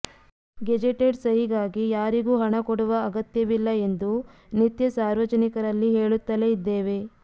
gazetted ಸಹಿಗಾಗಿ ಯಾರಿಗೂ ಹಣ ಕೊಡುವ ಅಗತ್ಯವಿಲ್ಲ ಎಂದು ನಿತ್ಯ ಸಾರ್ವಜನಿಕರಲ್ಲಿ ಹೇಳುತ್ತಲೇ ಇದ್ದೇವೆ